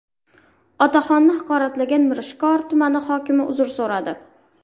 Otaxonni haqoratlagan Mirishkor tumani hokimi uzr so‘radi.